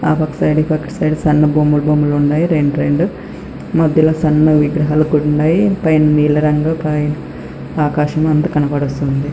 ఆ పక్క సైడ్ అక్కడ సైడ్ కి సన్న బొమ్మలు బొమ్మలు ఉన్నాయి రెండు రెండు మధ్యలో సన్న విగ్రహాలు కూడా ఉన్నాయి పైన నీళ్లు రంగు ఆకాశం ఉంది అందు కనబడుస్తుంది.